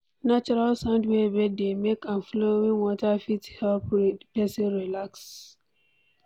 Natural sound wey bird dey make and flowing water fit help person relax